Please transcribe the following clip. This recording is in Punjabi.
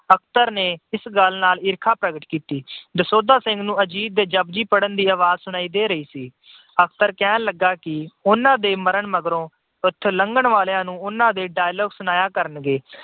ਅਖਤਰ ਨੇ ਇਸ ਗੱਲ ਨਾਲ ਈਰਖਾ ਪ੍ਰਗਟ ਕੀਤੀ। ਦਸੌਂਧਾ ਸਿੰਘ ਨੂੰ ਅਜੀਤ ਦੇ ਜਪੁਜੀ ਸਾਹਿਬ ਪੜ੍ਹਨ ਦੀ ਆਵਾਜ ਸੁਣਾਈ ਦੇ ਰਹੀ ਸੀ। ਅਖਤਰ ਕਹਿਣ ਲੱਗਾ ਕਿ ਉਹਨਾਂ ਦੇ ਮਰਨ ਮਗਰੋਂ ਇੱਥੋਂ ਲੰਘਣ ਵਾਲਿਆਂ ਨੂੰ ਉਹਨਾਂ ਦੇ dialogue ਸੁਣਾਇਆ ਕਰਨਗੇ।